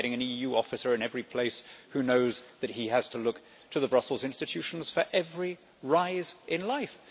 you start getting an EU officer in every place who knows that he has to look to the Brussels institutions for every improvement in life.